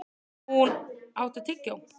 Húnn, áttu tyggjó?